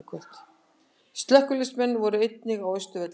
Slökkviliðsmenn voru einnig á Austurvelli